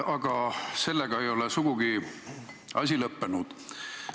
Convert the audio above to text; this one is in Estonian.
Aga sellega ei ole asi sugugi lõppenud.